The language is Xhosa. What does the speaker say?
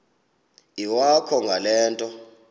iwakho ngale nto